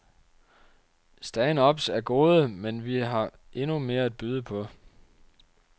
Stand-ups er gode, men vi har endnu mere at byde på.